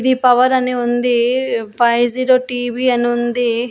The power అని ఉంది five zero TV అని ఉంది.